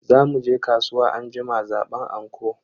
Za muje kasuwa anjima zaban anko.